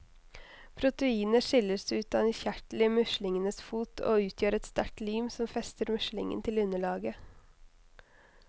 Proteinet skilles ut av en kjertel i muslingenes fot, og utgjør et sterkt lim som fester muslingen til underlaget.